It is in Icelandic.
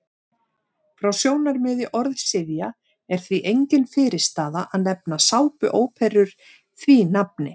Frá sjónarmiði orðsifja er því engin fyrirstaða að nefna sápuóperur því nafni.